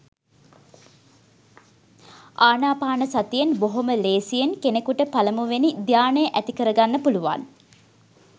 ආනාපානසතියෙන් බොහොම ලේසියෙන් කෙනෙකුට පළමුවෙනි ධ්‍යානය ඇතිකරගන්න පුළුවන්.